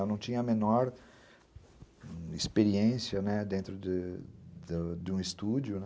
Eu não tinha a menor experiência, né, dentro de um estúdio, né?